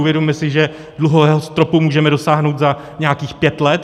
Uvědomme si, že dluhového stropu můžeme dosáhnout za nějakých pět let.